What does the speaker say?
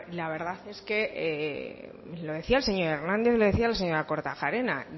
la verdad es que lo decía el señor hernández lo decía la señora kortajarena